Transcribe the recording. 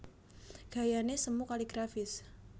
Gayané semu kaligrafis